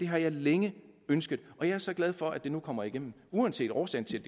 har jeg længe ønsket og jeg er så glad for at det nu kommer igennem uanset årsagen til